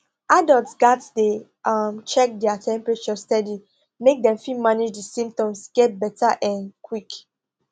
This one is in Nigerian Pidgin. adults gatz dey um check their temperature steady make dem fit manage di symptoms get beta um quick